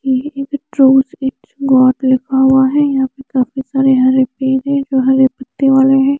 ये एक तरु लिखा हुआ है यहा पे काफी सारे हरे पेड़ है जो हरे पतियों वाले है।